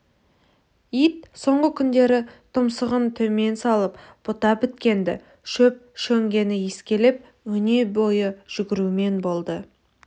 ит соңғы күндері тұмсығын төмен салып бұта біткенді шөп-шөңгені иіскелеп өнебойы жүгірумен болды